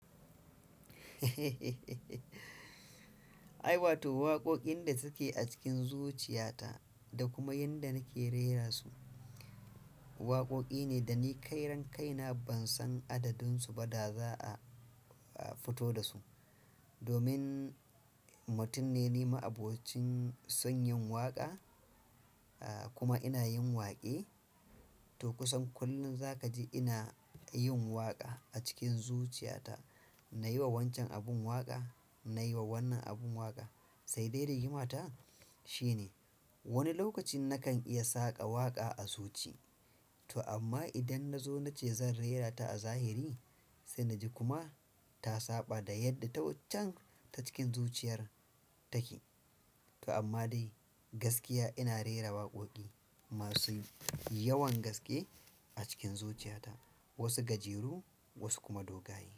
Ai, wato waƙoƙin da suke a cikin zuciyata da kuma yanda nake rera su, waƙoƙi ne da ni kai ran kaina ban san adadun su ba da za a, a fito da su. Domin mutum ne ni, ma'abocin son yin waƙa, ah, kuma ina yin waƙe. To kusan kullum za ka ji ina yin waƙa a cikin zuciyata. Na yi wa wancan abin waƙa, na yi wa wannan abin waƙa, sai dai rigimata shine wani lokacin nakan iya saƙa waƙa a zuci, to amma idan na zo na ce zan rera ta a zahiri, sai na ji kuma ta saɓa da yadda ta waccan ta cikin zuciyar take. To amma dai gaskiya ina rera waƙoƙi masu yawan gaske a cikin zuciyata, wasu gajeru wasu kuma dogaye.